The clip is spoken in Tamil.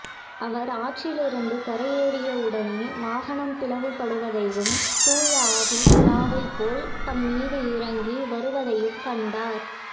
அவர் ஆற்றிலிருந்து கரையேறிய உடனே வானம் பிளவுபடுவதையும் தூய ஆவி புறாவைப் போல் தம்மீது இறங்கி வருவதையும் கண்டார்